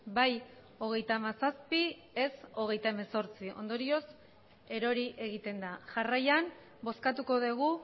bai hogeita hamazazpi ez hogeita hemezortzi ondorioz erori egiten da jarraian bozkatuko dugu